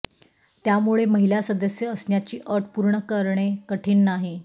त्यामुळे महिला सदस्य असण्याची अट पूर्ण करणे कठीण नाही